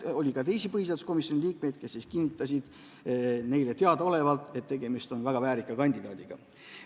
Oli ka teisi põhiseaduskomisjoni liikmeid, kes kinnitasid, et tegemist on väga väärika kandidaadiga.